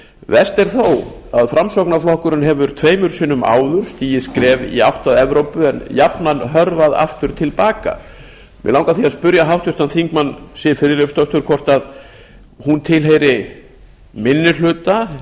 verst er þó að framsóknarflokkurinn hefur tveimur sinnum áður stigið skref í átt að evrópu en jafnan hörfað aftur til baka mig langar því að spyrja háttvirtan þingmann siv friðleifsdóttir hvort hún tilheyri minni hluta